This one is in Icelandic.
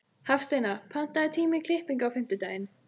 Hafsteina, pantaðu tíma í klippingu á fimmtudaginn.